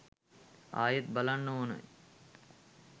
ආයෙත් බලන්න ඕනෙ